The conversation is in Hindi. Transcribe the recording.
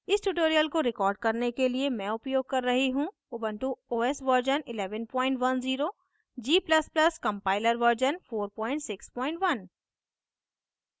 इस tutorial को record करने के लिए मैं उपयोग कर रही हूँ Ubuntu os version 1110 g ++ compiler version 461